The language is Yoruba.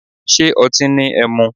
Ṣé otín ni ẹmu.